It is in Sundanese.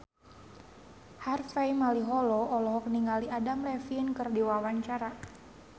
Harvey Malaiholo olohok ningali Adam Levine keur diwawancara